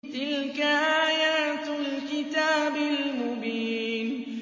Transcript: تِلْكَ آيَاتُ الْكِتَابِ الْمُبِينِ